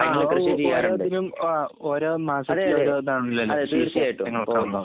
ആഹ്. കുറെ അധികം ഏഹ് ഓരോ മാസത്തിൽ ഓരോ